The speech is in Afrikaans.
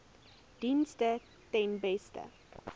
dienste ten beste